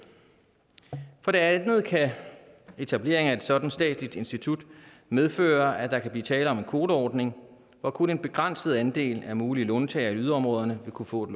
for det andet kan etableringen af et sådant statsligt institut medføre at der kan blive tale om en kvoteordning hvor kun en begrænset andel af mulige låntagere i yderområderne vil kunne få et